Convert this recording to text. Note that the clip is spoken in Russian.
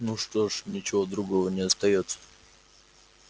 ну что ж ничего другого не остаётся